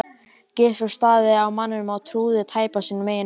Gizur starði á manninn og trúði tæpast sínum eigin eyrum.